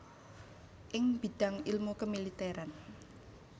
ing bidang ilmu kemiliteran